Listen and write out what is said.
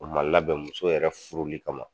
O ma labɛn muso yɛrɛ furuli kama